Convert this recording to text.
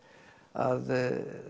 að